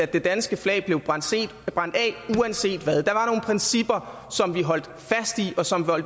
det danske flag blev brændt af uanset hvad der var nogle principper som vi holdt fast i og som